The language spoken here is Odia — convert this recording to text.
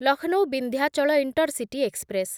Lucknow Vindhyachal intercity express